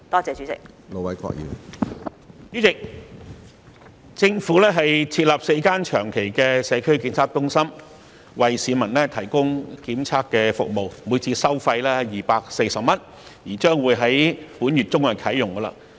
主席，政府將設立4個長期的社區檢測中心為市民提供檢測服務，每次收費240元，並將於本月中啟用。